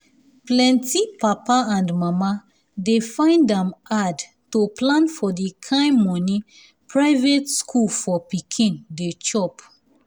plenty papa and mama dey find am hard to plan for the kain money private school for pikin dey chop.